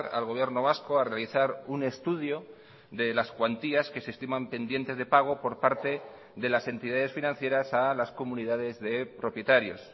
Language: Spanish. al gobierno vasco a realizar un estudio de las cuantías que se estiman pendientes de pago por parte de las entidades financieras a las comunidades de propietarios